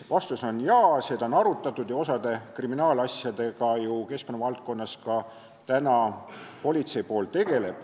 Vastus on jaa, seda on arutatud ja osa kriminaalasjadega keskkonnavaldkonnas politseipool ka tegeleb.